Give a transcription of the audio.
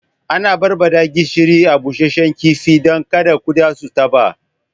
Ana barbaɗa gishiri a busashe kifi dan kada kuɗa su taɓa